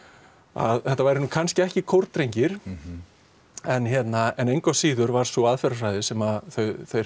að þetta væru kannski ekki kórdrengir en engu að síður var sú aðferðarfræði sem þeir